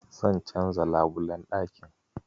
Zan canza labulen ɗakin.